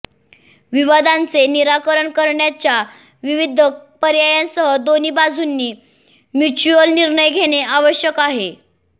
विवादांचे निराकरण करण्याच्या विविध पर्यायांसह दोन्ही बाजूंनी म्युच्युअल निर्णय घेणे आवश्यक आहे